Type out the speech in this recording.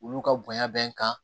Olu ka bonya bɛ n kan